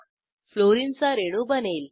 fluorine चा रेणू बनेल